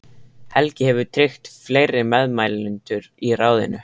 Helgi hefur tryggt fleiri meðmælendur í ráðinu.